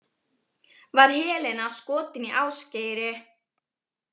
Var Helena skotin í Ásgeiri?